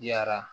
Yara